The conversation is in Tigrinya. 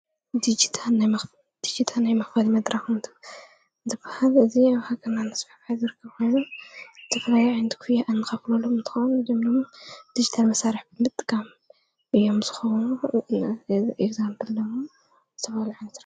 ዲጅታ ናይ መኽበድ መድራኹንት ዘፍሃል እዝ ኣብሃኸና ኣስብሕባት ዘርክብሉ ትፍልይ ዕንቲ ክያ ኣንኻፍለሉ ምትኾን ዘምኖሙ ድጅተ ል መሳርሕ ብትምጥጋም ዮም ስ ኸዉኑ ኤግዛምለዉ ሰበልዓንት::